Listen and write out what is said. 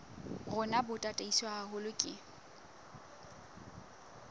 rona bo tataiswe haholo ke